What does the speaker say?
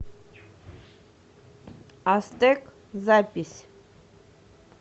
астек запись